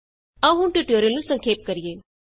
ਆਉ ਹੁਣ ਟਿਯੂਟੋਰਿਅਲ ਨੂੰ ਸੰਖੇਪ ਕਰੀਏ